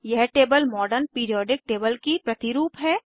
यह table modern periodic table की प्रतिरूप है